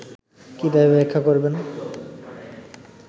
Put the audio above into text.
কীভাবে ব্যাখ্যা করবেন